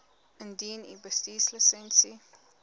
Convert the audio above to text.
indien u bestuurslisensie